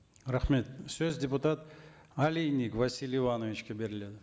рахмет сөз депутат олейник василий ивановичке беріледі